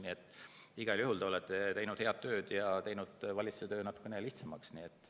Nii et igal juhul olete te teinud head tööd ja teinud valitsuse töö natuke lihtsamaks.